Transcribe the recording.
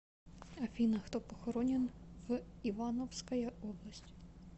афина кто похоронен в ивановская область